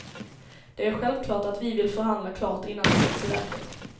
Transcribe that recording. Det är självklart att vi vill förhandla klart innan det sätts i verket.